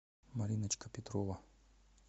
мариночка петрова